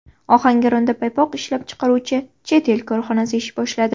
Ohangaronda paypoq ishlab chiqaruvchi chet el korxonasi ish boshladi.